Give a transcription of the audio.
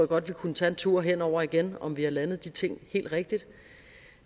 godt vi kunne tage en tur hen over igen og om vi har landet de ting helt rigtigt